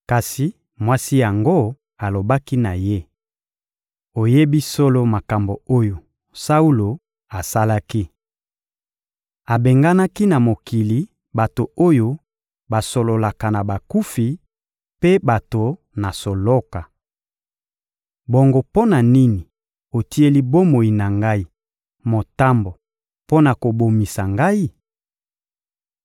Kasi mwasi yango alobaki na ye: — Oyebi solo makambo oyo Saulo asalaki. Abenganaki na mokili, bato oyo basololaka na bakufi mpe bato na soloka. Bongo mpo na nini otieli bomoi na ngai motambo mpo na kobomisa ngai?